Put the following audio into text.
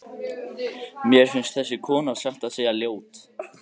Mér finnst þessi kona satt að segja ljót.